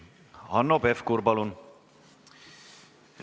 Hanno Pevkur, palun!